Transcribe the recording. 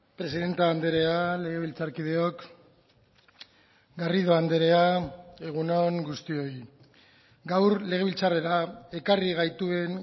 presidente andrea legebiltzarkideok garrido andrea egun on guztioi gaur legebiltzarrera ekarri gaituen